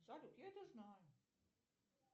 салют я это знаю